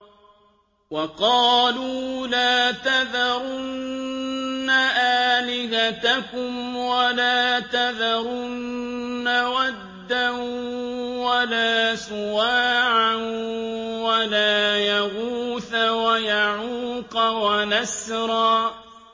وَقَالُوا لَا تَذَرُنَّ آلِهَتَكُمْ وَلَا تَذَرُنَّ وَدًّا وَلَا سُوَاعًا وَلَا يَغُوثَ وَيَعُوقَ وَنَسْرًا